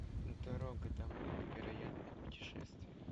дорога домой невероятное путешествие